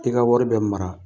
I ka wari be mara